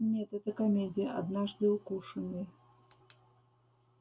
нет это комедия однажды укушенный